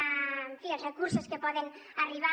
en fi els recursos que poden arribar